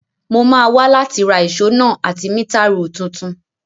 Mo máa wa láti ra ìso náà àti meter rule tuntun